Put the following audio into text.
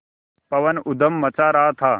पवन ऊधम मचा रहा था